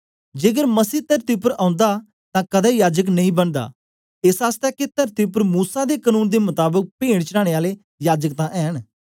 जेकर मसही तरती उपर ओंदा तां कदें याजक नेई बनदा एस आसतै के तरती उपर मूसा दे कनून दे मताबक पेंट चढाने आले याजक तां ऐंन